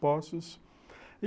Poços.